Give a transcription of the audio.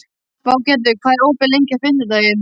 Végerður, hvað er opið lengi á fimmtudaginn?